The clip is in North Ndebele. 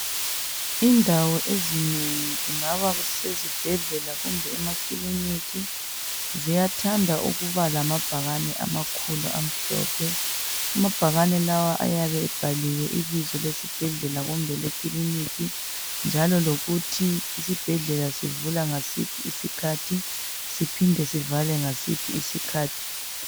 Indawo ezinegi, kungabe kusezibhedlela kumbe emakilinika, ziyathanda ukuba lamabhakane amakhulu amhlophe. Amabhakane lawa ayabe ebhaliwe ibizo lesibhedlela kumbe elekilinika njalo lokuthi isibhedlela sivula ngasiphi isikhathi, siphinde sivale ngasiphi isikhathi.